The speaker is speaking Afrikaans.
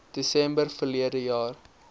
desember verlede jaar